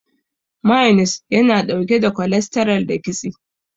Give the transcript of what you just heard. Mayones yana ɗauke da kolestaral da kitse.